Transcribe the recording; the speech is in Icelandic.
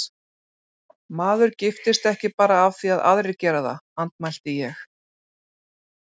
Maður giftist ekki bara af því að aðrir gera það, andmælti ég.